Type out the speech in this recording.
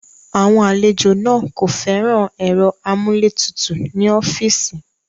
Àwọn àlejò náà kò fẹ́ràn ẹ̀rọ amúlétutù ní ọ́fíìsì.